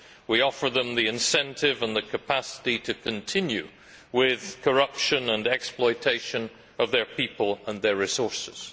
We offer them the incentive and the capacity to continue with corruption and the exploitation of their people and their resources.